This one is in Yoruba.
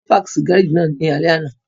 Tolú páàkì sí gáràjì náà ní alẹ́ àná